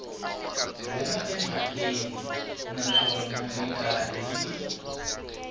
huma emhakeni naswona mikarhi yin